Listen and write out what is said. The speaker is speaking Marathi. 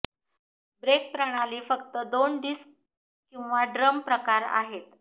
ब्रेक प्रणाली फक्त दोन डिस्क किंवा ड्रम प्रकार आहे